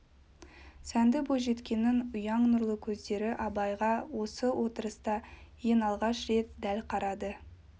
сәнді бойжеткеннің ұяң нұрлы көздер абайға осы отырыста ең алғаш рет дәл қарады